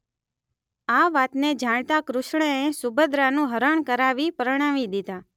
આ વાતને જાણતા કૃષ્ણએ સુભદ્રાનું હરણ કરાવી પરણાવી દીધાં